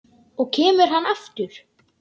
Og kemur hann aftur?